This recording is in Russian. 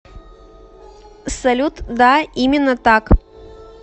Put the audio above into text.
салют да именно так